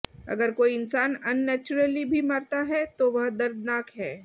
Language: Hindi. अगर कोई इंसान अननैचुरली भी मरता है तो वह दर्दनाक है